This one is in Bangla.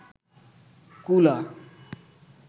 কুলা